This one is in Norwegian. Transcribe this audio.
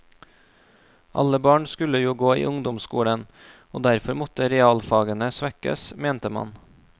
Alle barn skulle jo gå i ungdomsskolen, og derfor måtte realfagene svekkes, mente man.